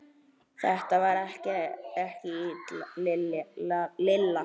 Þetta var ekki Lilla.